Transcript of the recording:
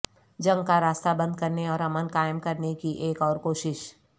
جنگ کا راستہ بند کرنے اور امن قائم کرنے کی ایک اور کوشش